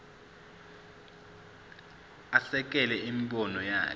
asekele imibono yakhe